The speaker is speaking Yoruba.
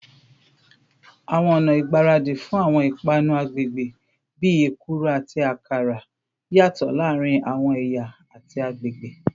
Awọn ọna igbaradi fun awọn ipanu agbegbe, bii ekuru ati akara, yatọ laarin awọn ẹya ati agbegbe